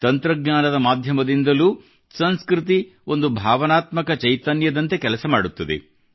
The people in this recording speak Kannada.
ತಂತ್ರಜ್ಞಾನದ ಮಾಧ್ಯಮದಿಂದಲೂ ಸಂಸ್ಕೃತಿ ಒಂದು ಭಾವನಾತ್ಮಕ ಚೈತನ್ಯದಂತೆ ಕೆಲಸ ಮಾಡುತ್ತದೆ